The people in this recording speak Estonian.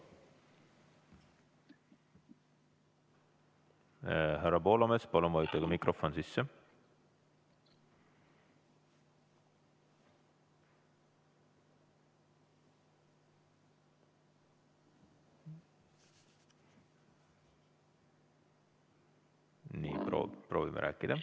Härra Poolamets, palun vajutage mikrofon sisse, proovime rääkida.